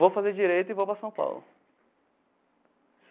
Vou fazer direito e vou para São Paulo.